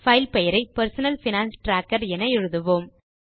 file பெயரை personal finance tracker என எழுதுக